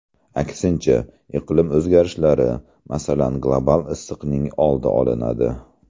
Aksincha, iqlim o‘zgarishlari, masalan, global isishning oldi olinadi”.